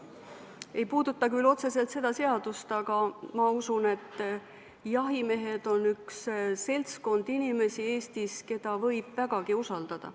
See ei puuduta küll otseselt seda seadust, aga ma usun, et jahimehed on üks seltskond inimesi Eestis, keda võib vägagi usaldada.